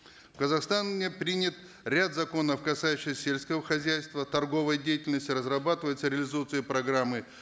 в казахстане принят ряд законов касающихся сельского хозяйства торговой деятельности разрабатываются реализуются и программы